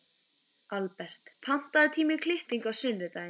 Albert, pantaðu tíma í klippingu á sunnudaginn.